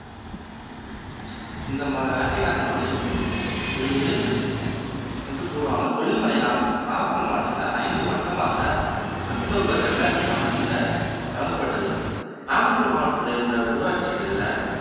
இந்த ம வேட்டைக்காரன் மலை இது உயர்ந்த சி என்று கூறுவாங்க கொல்லிமலை நா நாமக்கல் மாவட்டத்தில ஐந்து வட்டமாக அக்டோபர் இரண்டாயிரத்து பன்னிரெண்டுல தொடங்கப்பட்டது நாமக்கல் மாவட்டத்தில இருந்த ஊராட்சிகள்ல